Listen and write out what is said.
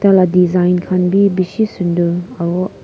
la design khan bi bishi sunder aru.